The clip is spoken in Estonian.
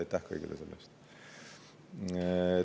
Aitäh kõigile selle eest!